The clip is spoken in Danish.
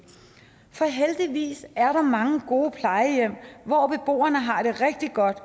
for heldigvis er der mange gode plejehjem hvor beboerne har det rigtig godt